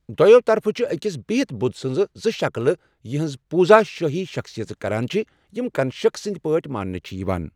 دۅیو طرفو چھِ أکِس بِہِتھ بُدھ سٕنٛزٕ زٕ شکلہٕ یِہٕنٛز پوٗزا شٲہی شخصیژٕ کران چھِ، یِم کنشک سٕنٛدۍ پٲٹھۍ مانٛنہٕ چھِ یِوان۔